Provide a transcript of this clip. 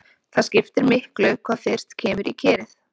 Það skiptir miklu hvað fyrst kemur í kerið.